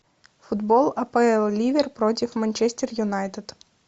футбол апл ливер против манчестер юнайтед